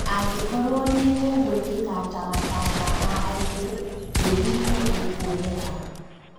Angĩkorwo nĩ gũgũĩkika ta matanya ma aingĩ, mbĩri nĩ ikuoneka.